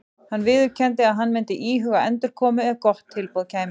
Hann viðurkenndi að hann myndi íhuga endurkomu ef gott tilboð kæmi.